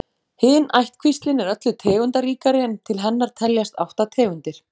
Hin ættkvíslin er öllu tegundaríkari en til hennar teljast átta tegundir.